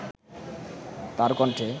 তার কণ্ঠে